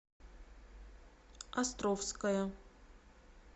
островская